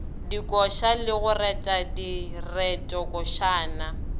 dikoša le go reta diretokošana